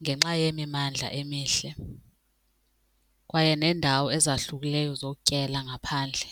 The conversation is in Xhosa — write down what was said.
ngenxa yemimandla emihle kwaye neendawo ezahlukileyo zokutyela ngaphandle.